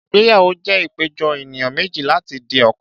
Ìgbéyàwó jẹ́ ìpéjọ ènìyàn méjì láti di ọ̀kan